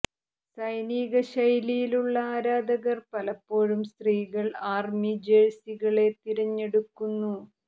സൈനിക ശൈലിയിലുള്ള ആരാധകർ പലപ്പോഴും സ്ത്രീകൾ ആർമി ജെഴ്സികളെ തിരഞ്ഞെടുക്കുന്നു